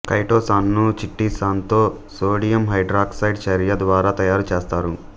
chitosan ను చిటిసన్ తో సోడియం హైడ్రాక్సైడ్ చర్య ద్వారా తయారుచేస్తారు